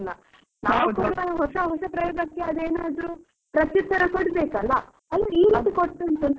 ನಾವು ಹೊಸ ಹೊಸ ಪ್ರಯೋಗಕ್ಕೆ ಆದು ಏನಾದ್ರು ಪ್ರತ್ಯುತ್ತರ ಕೊಡ್ ಬೇಕಲ್ಲ, ಅದೇ ಈ ರೀತಿ ಕೊಡ್ತಾ ಉಂಟು ಅಂತ ಅನಿಸುತ್ತದೆ.